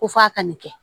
Ko f'a ka nin kɛ